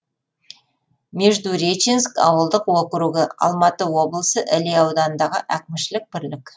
междуреченск ауылдық округі алматы облысы іле ауданындағы әкімшілік бірлік